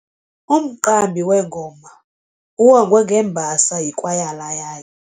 Umqambi wengoma uwongwe ngembasa yikwayala yakhe.